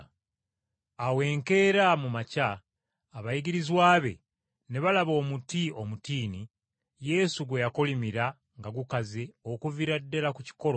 Awo enkeera mu makya abayigirizwa be ne balaba omuti omutiini Yesu gwe yakolimira nga gukaze okuviira ddala ku kikolo!